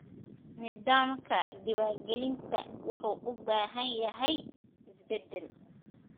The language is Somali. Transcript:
Nidaamka diiwaangelinta wuxuu u baahan yahay isbeddel.